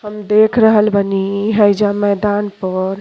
हम देख रहल बानी हइजा मैदान पर।